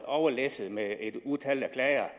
overlæsset med et utal af klager